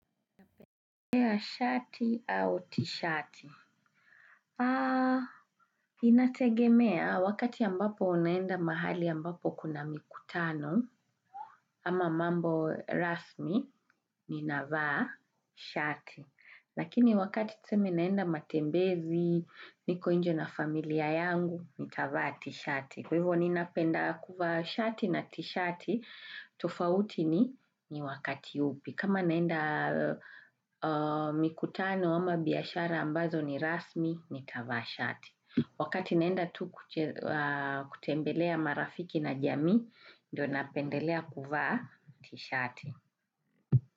Napendelea shati au tishati? Aaaa, inategemea wakati ambapo naenda mahali ambapo kuna mikutano ama mambo rasmi ninavaa shati. Lakini wakati tuseme ninaenda matembezi, niko nje na familia yangu, nitavaa tishati. Kwa hivyo ninapenda kuvaa shati na tishati, tofauti ni ni wakati upi. Kama naenda mikutano ama biashara ambazo ni rasmi, nitavaa shati. Wakati naenda tu kutembelea marafiki na jamii, ndio napendelea kuvaa tishati.